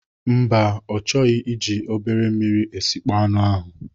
Mba, ọ chọghị iji obere mmiri esịkpo anụ ahụ.